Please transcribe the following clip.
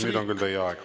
Nüüd on küll teie aeg!